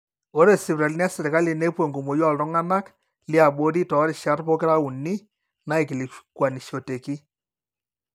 ore sipitalini esirkali nepuo enkumoi ooltung'anak liabori toorishat pokira uni naaikilikuanishoteki